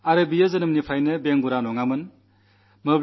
അദ്ദേഹം ജന്മനാ ദിവ്യാംഗമുള്ളയാളായിരുന്നില്ല